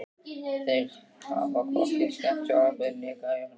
Þeir hafa hvorki skemmt sjónvarpið né græjurnar.